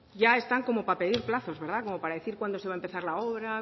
ya están como para pedir plazos verdad como para decir cuándo va a empezar la obra